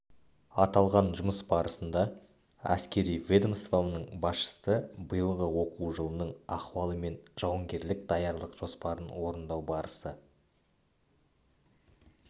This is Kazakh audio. аталған жұмыс барысында әскери ведомстваның басшысы биылғы оқу жылының ахуалы мен жауынгерлік даярлық жоспарын орындау барысы